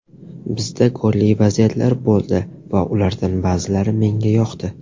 Bizda golli vaziyatlar bo‘ldi va ulardan ba’zilari menga yoqdi.